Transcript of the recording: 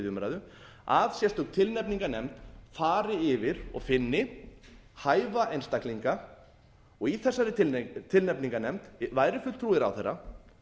umræðu að sérstök tilnefningarnefnd fari yfir og finni hæfa einstaklinga og í þessari tilnefningarnefnd væri fulltrúi ráðherra